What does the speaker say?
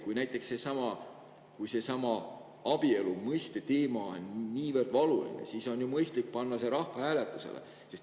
Kui näiteks abielu mõiste teema on niivõrd valuline, siis on mõistlik panna see rahvahääletusele.